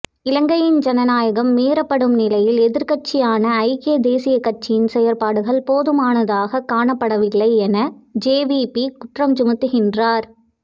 இலங்கையின் ஜனநாயகம் மீறப்படும் நிலையில் எதிர்கட்சியான ஐக்கிய தேசியக் கட்சியின் செயற்பாடுகள் போதுமானதாக காணப்படவில்லை என ஜேவிபி குற்றஞ்சுமத்துகின்றது